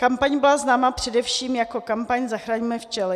Kampaň byla známa především jako kampaň Zachraňme včely.